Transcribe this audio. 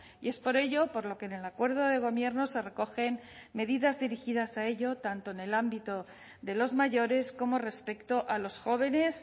y es por ello por lo que en el acuerdo de gobierno se recogen medidas dirigidas a ello tanto en el ámbito de los mayores como respecto a los jóvenes